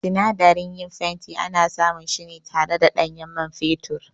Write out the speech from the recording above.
Sinadaran yin fenti ana samun su ne tare da ɗanyen man fetur